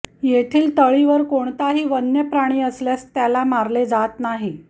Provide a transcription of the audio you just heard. येथील तळीवर कोणताही वन्य प्राणी आल्यास त्याला मारले जात नाही